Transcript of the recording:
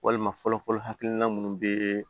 Walima fɔlɔ fɔlɔ hakilina munnu bɛ